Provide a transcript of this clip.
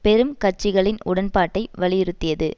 பெரும் கட்சிகளின் உடன்பாட்டை வலியுறுத்தியது